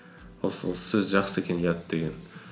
осы сөз жақсы екен ұят деген